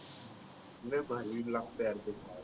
लय भारी लागत यार खूप